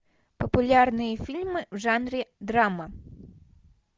популярные фильмы в жанре драма